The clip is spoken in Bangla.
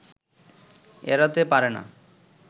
এড়াতে পারে না